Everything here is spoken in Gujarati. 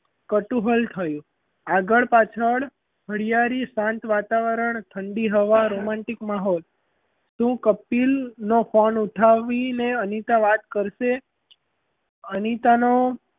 કતૂહલ થયું આગળ પાછળ હરિયાળી શાંત વાતાવરણ ઠંડી હવા romantic માહોલ શું કપિલ નો phone ઉઠાવીને અનીતા વાત કરશે? અનિતાનો,